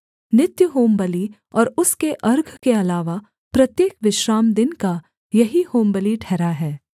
नित्य होमबलि और उसके अर्घ के अलावा प्रत्येक विश्रामदिन का यही होमबलि ठहरा है